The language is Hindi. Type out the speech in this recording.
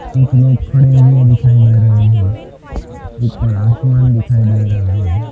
कुछ लोग खड़े हुए दिखाई दे रहे है ऊपर आसमान दिखाई दे रहा है।